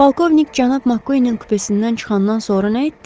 Polkovnik cənab Makkuinin kupesindən çıxandan sonra nə etdi?